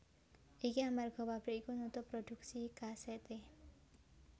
Iki amarga pabrik iku nutup prodhuksi kasèté